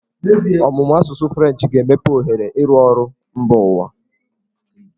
Ọmụmụ asụsụ Frenchị ga-emepe ohere ịrụ ọrụ mba ụwa.